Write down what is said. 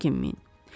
Çəkinməyin.